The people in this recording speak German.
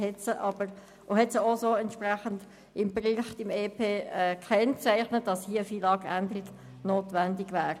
Dementsprechend hat er auch im Bericht zum EP gekennzeichnet, dass eine FILAG-Änderung notwendig wäre.